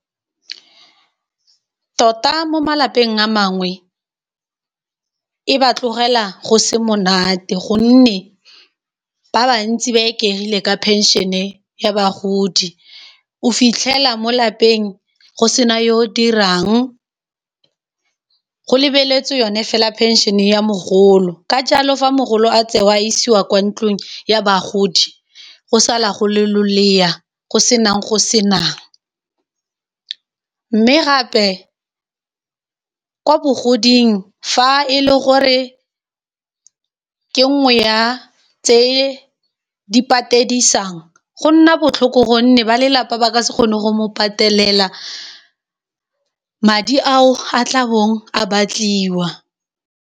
Tota mo malapeng a mangwe e ba tlogela go se monate gonne ba bantsi ba ikegile ka pension-e ya bagodi, o fitlhela mo lapeng go sena yo dirang go lebeletswe yone fela phensene ya mogolo ka jalo fa mogolo a tseo a isiwa kwa ntlong ya bagodi go sala go le lolea go senang go senang, mme gape kwa bogodimong fa e le gore ke nngwe ya tse di patedisang go nna botlhoko gonne ba lelapa ba ka se kgone go mo patelela madi ao a tla bong a batliwa.